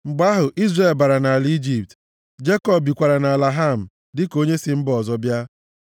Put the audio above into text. Mgbe ahụ, Izrel bara nʼala Ijipt; Jekọb bikwara nʼala Ham dịka onye si mba ọzọ bịa.